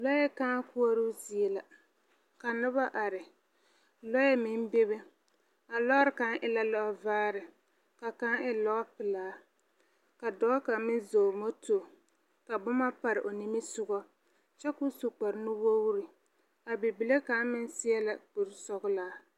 Lɔɛ kãã koɔroo zie la, ka noba are, lɔɛ meŋ bebe, a lɔɔre kaŋ e vaare, ka kaŋ e lɔpelaa, ka dɔɔ kaŋ meŋ zɔŋ moto, ka boma pare o nimisogɔ, kyɛ ko kparenuwogri, a bibile kaŋ meŋ seɛ la kurisɔglaa.